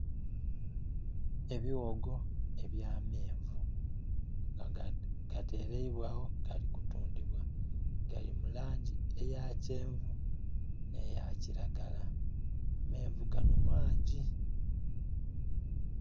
Ebiwogo ebya menvu nga gaterebwa agho gali kutundhibwa gali mulangi eya kyenvu ne ya kilagala amenvu gano maangi.